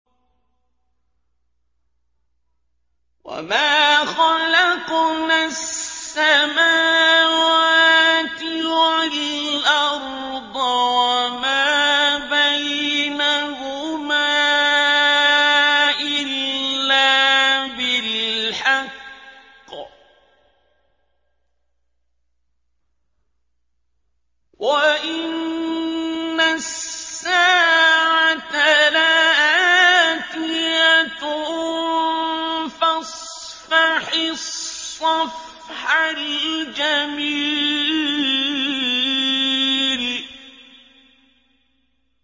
وَمَا خَلَقْنَا السَّمَاوَاتِ وَالْأَرْضَ وَمَا بَيْنَهُمَا إِلَّا بِالْحَقِّ ۗ وَإِنَّ السَّاعَةَ لَآتِيَةٌ ۖ فَاصْفَحِ الصَّفْحَ الْجَمِيلَ